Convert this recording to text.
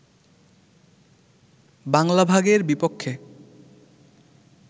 বাংলা ভাগের বিপক্ষে